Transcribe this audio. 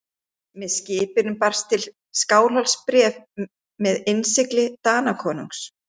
Með skipinu barst til Skálholts bréf með innsigli Danakonungs.